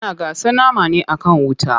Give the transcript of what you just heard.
Ana gasa nama ne akan wuta.